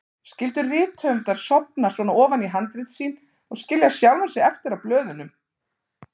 Skyldu rithöfundar sofna svona ofan í handrit sín og skilja sjálfa sig eftir á blöðunum?